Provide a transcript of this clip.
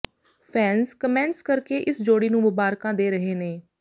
fans comments ਕਰਕੇ ਇਸ ਜੋੜੀ ਨੂੰ ਮੁਬਾਰਕਾਂ ਦੇ ਰਹੇ ਨੇ